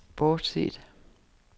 bortset